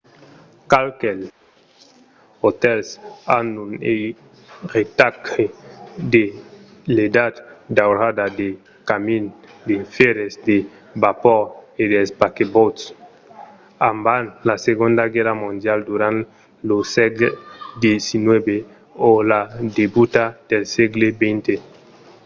qualques otèls an un eiretatge de l'edat daurada del camin de fèrre de vapor e dels paquebòts; abans la segonda guèrra mondiala durant lo sègle xix o a la debuta del sègle xx